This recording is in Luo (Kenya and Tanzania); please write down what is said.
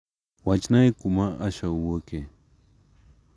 Wachnae kuma Asha wuoke.